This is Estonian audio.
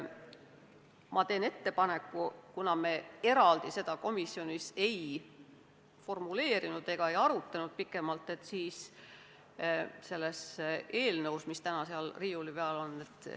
Ma teen ettepaneku, et kuna me seda komisjonis eraldi ei formuleerinud ega pikemalt arutanud, siis loetaks seda eelnõu, mis täna seal riiuli peal on.